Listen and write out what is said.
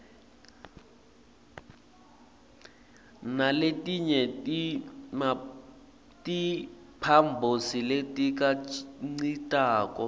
naletinye timphambosi letikhicitako